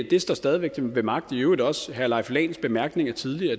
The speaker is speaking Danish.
det står stadig ved magt i øvrigt også af herre leif lahn bemærkninger tidligere